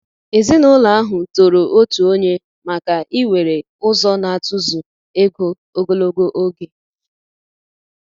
Èzìnụlọ ahụ tòrò òtù ònye maka íwere ụzọ n'atụ̀zụ̀ égò ogologo oge.